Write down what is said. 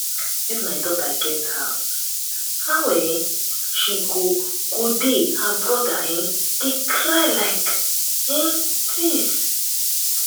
dis my daughter get heart how um she go go dey her brother um dey cry like um dis?